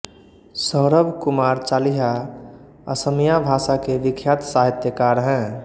सौरभ कुमार चालिहा असमिया भाषा के विख्यात साहित्यकार हैं